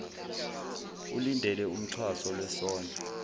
ulindele umxhaso lwesondlo